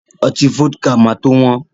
Ọtí Fọ́díkà ma tó wọ́n